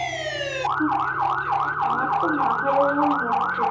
হু, আমার তো মাথাটা কেমন হচ্ছে।